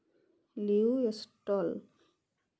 Liu এস্টল